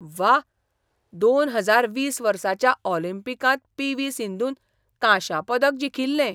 व्वा, दोन हजार वीस वर्साच्या ऑलिंपिकांत पी. व्ही. सिंधून कांशा पदक जिखिल्लें.